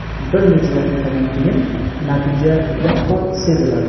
Bir necha daqiqadan keyin natija yaqqol seziladi.